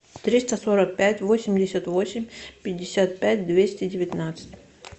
триста сорок пять восемьдесят восемь пятьдесят пять двести девятнадцать